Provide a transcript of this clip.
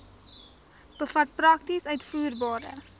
bevat prakties uitvoerbare